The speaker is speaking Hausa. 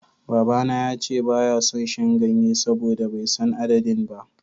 Babana ya ce ba ya son shan ganye saboda bai san adadin ba.